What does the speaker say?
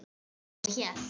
Já, ég hélt.